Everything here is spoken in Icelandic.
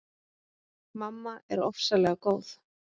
Mamma er ofsalega góð.